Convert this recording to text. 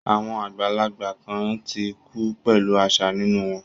Àwọn àgbàlagbà kan ti kú pẹ̀lú àṣà nínú wọn